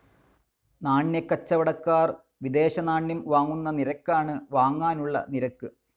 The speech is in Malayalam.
നാണ്യക്കച്ചവടക്കാർ വിദേശനാണ്യം വാങ്ങുന്ന നിരക്കാണ് വാങ്ങാനുള്ള നിരക്ക്.